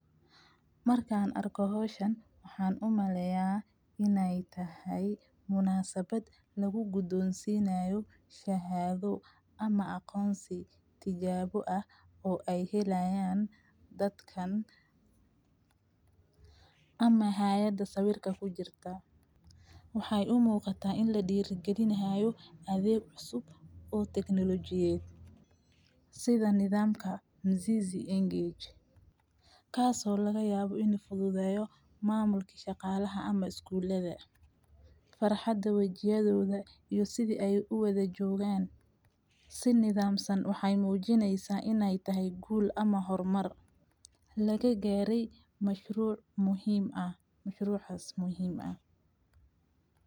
Markaan arko howshan, waxaan u malleeya inay tahay munasabat lagu gudunsii naayo shahaado ama aqoonsi tijaabo ah oo ay helayaan dadkan ama hayadha sawirka ku jirta. Waxay u muuqata in la diirigelinahay adag cusub oo technology eed sida nidaamka Mzizi iyo Engage, kaasoo laga yaabo inay fududeeyo maamulki shaqaalaha ama iskuulede, farxadda wajiyadooda iyo sida ay u wada joogaan. Si nidaamsan waxay muujinaysaa inay tahay guul ama hormar. Lagagaareey mashruuc muhiim ah mashruucas muhiim ah.